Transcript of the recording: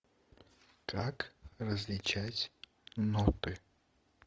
как различать ноты